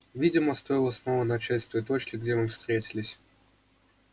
видимо стоило снова начать с той точки где мы встретились